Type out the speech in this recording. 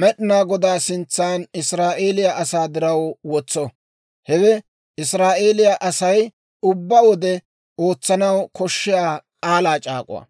Med'inaa Godaa sintsan Israa'eeliyaa asaa diraw wotso. Hewe Israa'eeliyaa Asay ubbaa wode ootsanaw koshshiyaa k'aalaa c'aak'uwaa.